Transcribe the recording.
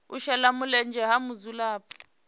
u shela mulenzhe ha mudzulapo